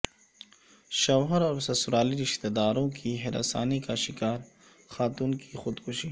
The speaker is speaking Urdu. شوہر اور سسرالی رشتہ داروں کی ہراسانی کا شکار خاتون کی خودکشی